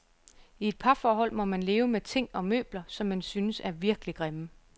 I et parforhold må man leve med ting og møbler, som man synes, er virkelig grimme.